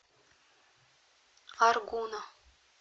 аргуна